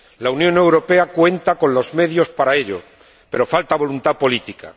La Unión Europea cuenta con los medios para ello, pero falta voluntad política.